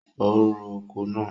O ro oko náà.